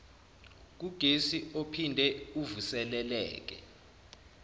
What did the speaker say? kugesi ophinde uvuseleleke